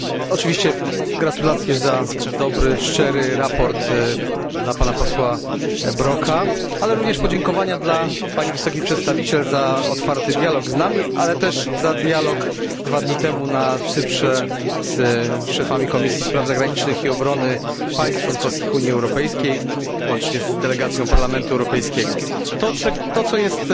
Oczywiście gratuluję dobrego szczerego sprawozdania panu posłowi Brokowi, ale również kieruję podziękowania dla Pani Wysokiej Przedstawiciel za otwarty dialog z nami, ale także dialog dwa dni temu na Cyprze z szefami komisji spraw zagranicznych i obrony państw członkowskich Unii Europejskiej łącznie z delegacją Parlamentu Europejskiego. Tym, co jest